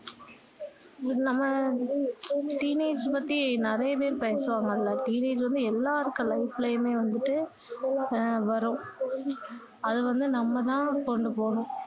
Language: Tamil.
teenage பத்தி நிறைய பேர் பேசுபவாங்கள்ல teenage வந்து எல்லாருக்கும் life லயுமே வந்துட்டு அஹ் வரும் அது வந்து நம்ம தான் கொண்டு போணும்